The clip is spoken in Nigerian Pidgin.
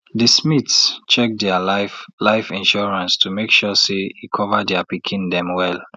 de smiths check dia life life insurance to make sure say e cover dia pikin dem well